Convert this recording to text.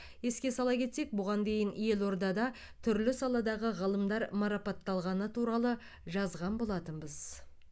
еске сала кетсек бұған дейін елордада түрлі саладағы ғылымдар марапатталғаны туралы жазған болатынбыз